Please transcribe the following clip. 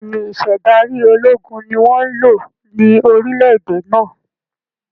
Bẹ́ẹ̀ni, Ìṣedárí ológun ni wọn ń lò ní orílẹ̀ èdè náà